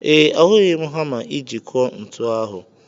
Ee, ahụghị m hama iji kụọ ntu ahụ.